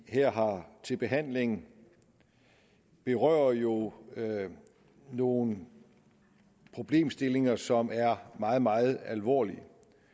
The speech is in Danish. her har til behandling berører jo nogle problemstillinger som er meget meget alvorlige